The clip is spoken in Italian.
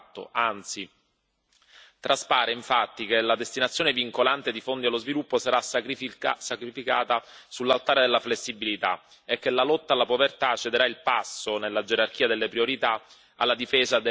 Traspare infatti che la destinazione vincolante di fondi allo sviluppo sarà sacrificata sull'altare della flessibilità e che la lotta alla povertà cederà il passo nella gerarchia delle priorità alla difesa degli interessi dell'Unione europea.